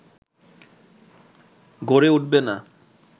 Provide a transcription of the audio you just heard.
গড়ে উঠবে না